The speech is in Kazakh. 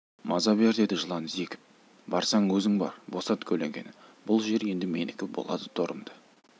маза бер деді жылан зекіп барсаң өзің бар босат көлеңкені бұл жер енді менікі болады торымды